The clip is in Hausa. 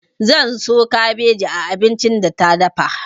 Zan so kabeji a abincin da ta dafa.